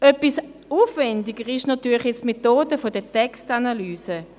Etwas aufwendiger ist natürlich die Methode der Textanalyse.